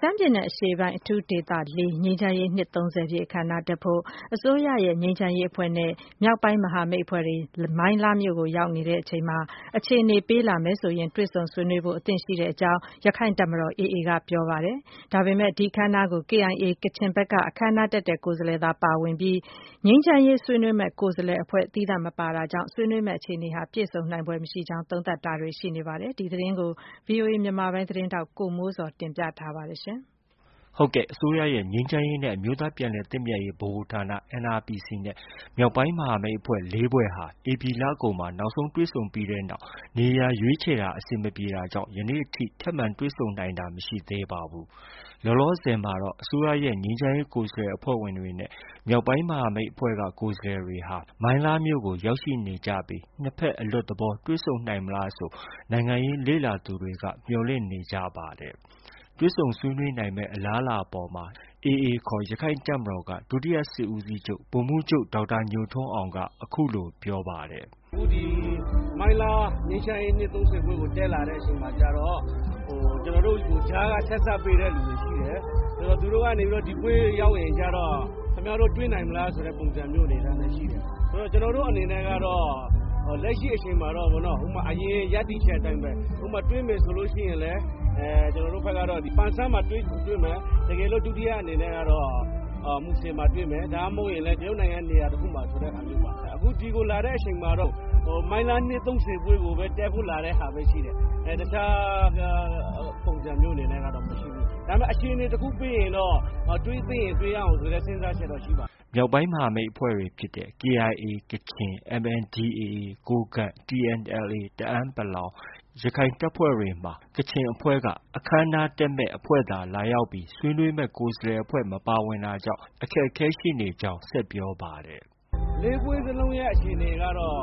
ရှမ်းပြည်နယ် အရှေ့ပိုင်းအထူးဒေသ ၄ ငြိမ်းချမ်းရေး နှစ် ၃၀ ပြည့်အခမ်းအနားကို တက်ရောက်ဖို့ အစိုးရရဲ့ ငြိမ်းချမ်းရေး ဆွေးနွေးရေးအဖွဲ့နဲ့ မြောက်ပိုင်းမဟာမိတ်အဖွဲ့တွေ မိုင်းလားမြို့ကို ရောက်ရှိနေချိန်မှာ အခြေအနေပေးလာမယ်ဆိုရင် တွေ့ဆုံဆွေးနွေးဖို့ အတွက် အသင့်ရှိကြောင်း ရခိုင်တပ်မတော် AA က ပြောပါတယ်။ ဒါပေမဲ့ ဒီအခမ်းအနားကို KIA ကချင်ဘက်က အခမ်းအနားတက်ရောက်တဲ့ ကိုယ်စားလှယ်သာ ပါဝင်ပြီး ငြိမ်းချမ်းရေ ဆွေးနွေးမယ့် ကိုယ်စားလှယ်အဖွဲ့ မပါဝင်တာကြောင့် ဆွေးနွေးမယ့် အခြေအနေဟာ ပြည့်စုံနိုင်ဖွယ်မရှိကြောင်း သုံးသပ်တာတွေ ရှိနေပါတယ်။ ဒီသတင်းကိုတော့ ဗွီအိုအေ မြန်မာပိုင်းရဲ့ သတင်းထောက် ကိုမိုးဇော်က တင်ပြထားပါတယ်။ အစိုးရရဲ့ ငြိမ်းချမ်းရေးနဲ့ အမျိုးသားပြန်လည်သင့်မြတ်ရေးဗဟိုဌာန NRPC နဲ့ မြောက်ပိုင်းမဟာမိတ်အဖွဲ့ ၄ ဖွဲ့ဟာ ဧပြီလကုန်မှာ နောက်ဆုံးတွေ့ဆုံပြီးတဲ့နောက် နေရာရွေးခြယ်တာ အဆင်မပြေတာကြောင့် ယနေ့ထိ တွေ့ဆုံနိုင်တာ မရှိသေးပါဘူး။ လောလောဆည်မှာတော့ အစိုးရရဲ့ ငြိမ်းချမ်းရေး ကိုယ်စားလှယ်အဖွဲ့ဝင်တွေနဲ့ မြောက်ပိုင်း မဟာမိတ် ကိုယ်စားလှယ်တွေဟာ မိုင်းလားမြို့ကို ရောက်ရှိနေကြပြီး နှစ်ဘက်အလွတ်သဘော တွေ့ဆုံနိုင်မလားဆို နိုင်ငံရေးလေ့လာသူတွေက မျှော်လင့်နေကြပါတယ်။ တွေ့ဆုံဆွေးနွေးနိုင်မယ့် အလားအလာအပေါ်မှာ AA ခေါ် ရခိုင်တပ်မတော်က ဒုတိယ စစ်ဦးစီးချုပ် ဗိုလ်မှုးချုပ် ဒေါက်တာညိုထွန်းအောင်က အခုလို ပြောပါတယ်။ “အခု ဒီမိုင်းလား နှစ် ၃၀ ပွဲကို တက်လာတဲ့ အချိန်မှာကျတော့ ကျနော်တို့ကို ကြားက ဆက်စပ်ပေးတဲ့ သူတွေရှိတယ်။ သူတို့က ကျနော်တို့ကို ဒီပွဲရောက်တဲ့အခါကျတော့ ကျနော်တို့ကို ခင်ဗျားတို့ တွေ့နိုင်မလားဆိုတဲ့ အနေအထားနဲ့ ရှိတယ်။ ကျနော်တို့အနေနဲ့ကတော့ လက်ရှိ အချိန်မှာတော့ အရင် ရပ်တည်ချက်အတိုင်းပဲ တွေ့မယ်ဆိုရင် ကျနော်တို့ဘက်ကတော့ ပန်ဆန်းမှာ တွေ့မယ်။ ဒုတိယအနေနဲ့ကတော့ မူဆယ်မှာ တွေ့မယ်။ ဒါမှ မဟုတ်ရင် တရုတ်နိုင်ငံရဲ့ နေရာတစ်ခုမှာဆိုတဲ့ဟာမျိုးပေ့ါ။ အခုဒီကိုလာတဲ့ဟာမှာတော့ မိုင်းလား နှစ်၃၀ပွဲကိုပဲ လာတဲ့ ပုံစံမျိုးပဲ ရှိတယ်။ တစ်ခြား ပုံစံမျိုးပဲ ရှိတယ်။ ဒါပေမဲ့ အခြေအနေ တစ်ခု ပေးရင်တော့ တွေ့သင့်ရင် တွေ့ရအောင်ဆိုတဲ့ စဉ်းစားချက်တော့ ရှိပါတယ်။” မြောက်ပိုင်း မဟာမိတ်အဖွဲ့တွေဖြစ်တဲ့ KIA ကချင်၊ MNDAA ကိုးကန့်၊ TNLA တအန်း ၊ AA ရခိုင်တပ်ဖွဲ့တွေမှာ ကချင်အဖွဲ့က အခမ်းအနားတက်မယ့် အဖွဲ့သာ လာရောက်ပြီး ဆွေးနွေးမယ့် ကိုယ်စားလှယ်အဖွဲ့ မပါဝင်တာကြောင့် အခက်အခဲ ရှိနေကြောင်း ဆက်ပြောပါတယ်။ “လေး ဖွဲ့စလုံးရဲ့ အခြေအနေကတော့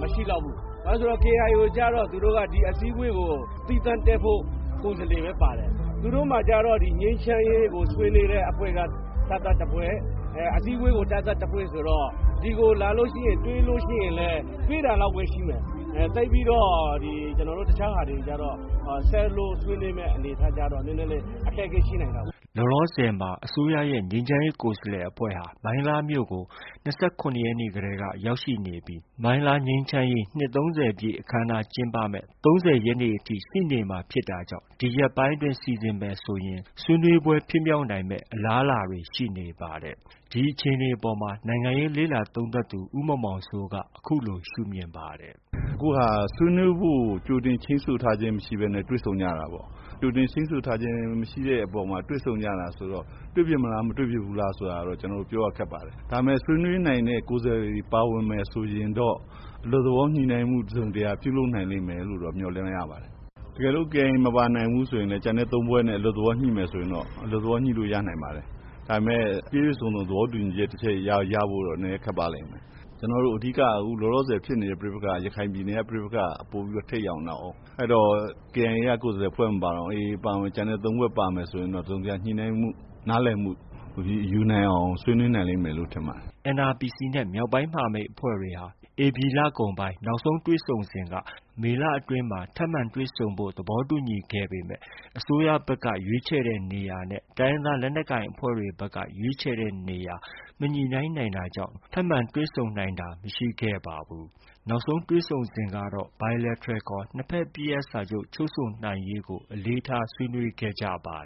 မရှိလောက်ဘူး။ ဘာဖြစ်လို့လဲ ဆိုတော့ KIA ကျတော့ ဒီအစည်းအဝေးကို သီးသန့်တက်ဖို့ ကိုယ်စားလှယ်ပဲ ပါတယ်။ သူတို့မှာကျတော့ ငြိမ်းချမ်းရေးကို ဆွေးနွေးတဲ့အဖွဲ့က သပ်သပ်တဖွဲ့၊ အစည်းအဝေးကို သပ်သပ်တဖွဲ့ဆိုတော့ ဒီကိုလာလို့ ရှိရင် တွေ့လို့ရှိရင်လည်း တွေ့တာလောက်ပဲ ရှိမယ်။ သိပ်ပြီးတော့ ဒီတစ်ခြားဟာတွေကျတော့ ဆက်လို့ ဆွေးနွေးမယ့် အနေအထားကျတော့ အခက်အခဲ ရှိနိုင်တာပေါ့။” လောလောဆယ်မှာ မြန်မာအစိုးရရဲ့ ငြိမ်းချမ်းရေးကိုယ်စားလှယ်အဖွဲ့ဟာ မိုင်းလားမြို့ကို ၂၇ရက်နေ့ကတည်းက ရောက်ရှိနေပြီး ငြိမ်းချမ်းရေး နှစ် ၃၀ ပြည့်အခမ်းအနား ကျင်းပမယ့် ၃၀ ရက်နေ့အထိ ရှိနေမှာဖြစ်တာကြောင့် ဒီရက်ပိုင်းအတွင်း စီစဉ်မယ်ဆိုရင်တော့ ဆွေးနွေးပွဲ ဖြစ်မြောက်နိုင်တဲ့ အလားအလာတွေ ရှိနေပါတယ်။ ဒီအခြေအနေအပေါ်မှာတော့ နိုင်ငံရေးလေ့လာသုံးသပ်သူ ဦးမောင်မောင်စိုးက အခုလို ရှုမြင်ပါတယ်။ “အခုဟာက ဆွေးနွေးဖို့ကို ကြိုတင် ချိန်းဆိုမထားဘဲ တွေ့ဆုံကြတာပေါ့။ ကြိုတင်ချိန်းဆိုထားခြင်းမရှိတဲ့အပေါ် တွေ့ဆုံကြတာဆိုတော့ တွေ့ဖြစ်မလား၊ မတွေ့ဖြစ်ဘူးလားဆိုတာ ကျနော်တို့ ပြောရခက်ပါတယ်။ ဒါပေမဲ့ ဆွေးနွေးနိုင်မယ့် ကိုယ်စားလှယ်တွေ ပါဝင်မယ် ဆိုရင်တော့ အလွတ်သဘော တစ်စုံတစ်ရာ ပြုလုပ်နိုင်လိမ့်မယ်လို့ တော့ မျှော်လင့်ရပါတယ်။ တကယ်လို့ KIA မပါနိုင်ဘူးဆိုရင် ကျန်တဲ့ ၃ ဖွဲ့နဲ့ အလွတ်သဘောညှိမယ်ဆို ညှိလို့ ရနိုင်ပါတယ်။ ဒါပေမဲ့ ပြည့်ပြည့်စုံစုံ သဘောတူညီချက် တခုရဖို့တော့ ခက်ပါလိမ့်မယ်။ ကျနော်တို့ အဓိက လောလောဆယ် ဖြစ်နေတဲ့ ပဋိပက္ခက ရခိုင်ပြည်နယ်က ပဋိပက္ခ က ပိုပြီးတော့ ထိပ်ရောက်နေတာကိုး။ အဲတော့ KIA ကိုယ်စားလှယ် အဖွဲ့ မပါတောင် ကျန်တဲ့ သုံး ဖွဲ့ပါမယ်ဆိုရင်တော့ တစ်စုံတစ်ရာ ညှိနှိုင်းမှု နားလည်မှု ယူနိုင်အောင် ဆွေးနွေးနိုင်မယ်လို့ထင်ပါတယ်။” NRPC နဲ့ မြောက်ပိုင်း မဟာမိတ်အဖွဲ့တွေဟာ ဧပြီလကုန်ပိုင်းက နောက်ဆုံးတွေ့ဆုံစဉ်က မေလအတွင်းမှာ တွေ့ဆုံဖို့ သဘောတူညီခဲ့ကြပေမဲ့ အစိုးရဘက်က ရွေးခြယ်တဲ့နေရာနဲ့ တိုင်းရင်းသားလက်နက်ကိုင်အဖွဲ့တွေဘက်က ရွေးခြယ်တဲ့နေရာ မညှိနှိုင်းနိုင်တာကြောင့် ထပ်မံတွေ့ဆုံနိုင်တာ မရှိခဲ့ပါဘူး။ နောက်ဆုံးတွေ့ဆုံစဉ်ကတော့ bilateral ခေါ် နှစ်ဘက်အပစ်ရပ်စာချုပ် ချုပ်ဆိုနိုင်ရေးကို ဆွေးနွေးခဲ့ကြပါ